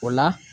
O la